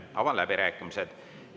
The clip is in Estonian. Avan läbirääkimised.